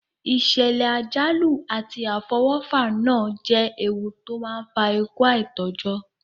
Ìsẹ̀lẹ̀ àjálù àti àfọwọ́fà náà je ewu to n fa ikú aitọ́jọ́